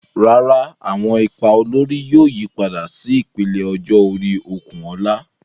Rárá, àwọn ipa olórí yóò yípadà sí ìpele ọjọ́ orí Okunola.